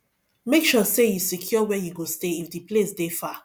make sure say you secure where you go stay if di place de far